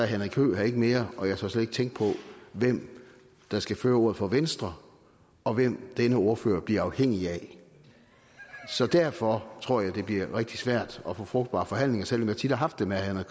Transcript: henrik høegh her ikke mere og jeg tør slet ikke tænke på hvem der skal føre ordet for venstre og hvem denne ordfører bliver afhængig af så derfor tror jeg det bliver rigtig svært at få frugtbare forhandlinger selv om jeg tit har haft det med herre